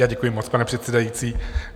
Já děkuji moc, pane předsedající.